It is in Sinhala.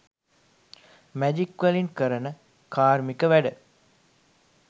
මැජික්වලින් කරන කාර්මික වැඩ